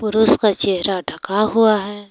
पुरुष का चेहरा ढका हुआ है।